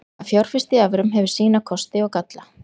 Að fjárfesta í evrum hefur sína kosti og galla.